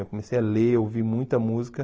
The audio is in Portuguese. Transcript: Eu comecei a ler, a ouvir muita música.